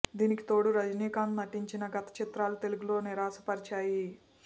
దీనికి తోడు రజినీకాంత్ నటించిన గత చిత్రాలు తెలుగులో నిరాశపరిచాయి